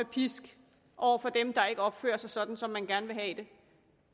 pisk over for dem der ikke opfører sig sådan som man gerne vil have det